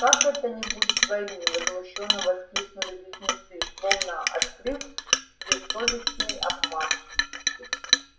как это не будет войны возмущённо воскликнули близнецы словно открыв бессовестный обман